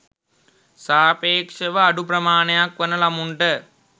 සාපේක්ෂව අඩු ප්‍රමාණයක් වන ළමුන්ට